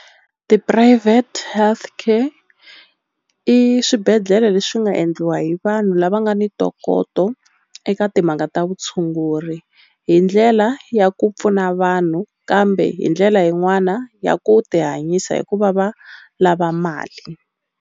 Ti-private health care i swibedhlele leswi nga endliwa hi vanhu lava nga ni ntokoto eka timhaka ta vutshunguri hi ndlela ya ku pfuna vanhu kambe hi ndlela yin'wana ya ku ti hanyisa hi ku va va lava mali.